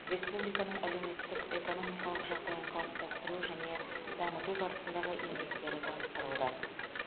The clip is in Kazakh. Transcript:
республиканың әлеуметтік экономикалық жағдайын қалыптастыру және дамыту барысындағы еңбектері таныстырылды